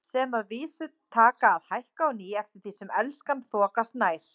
Sem að vísu taka að hækka á ný eftir því sem Elskan þokast nær.